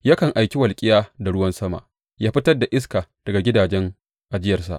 Yakan aiki walƙiya da ruwan sama ya fitar da iska daga gidajen ajiyarsa.